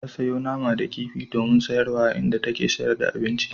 Ta sayo nama da kifi domin sayarwa a inda take sayar da abinci.